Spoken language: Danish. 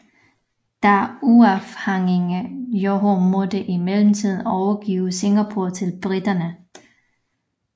Det uafhængige Johor måtte i mellemtiden overgive Singapore til briterne